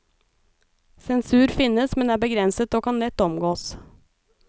Sensur finnes, men er begrenset og kan lett omgås.